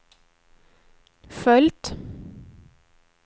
följt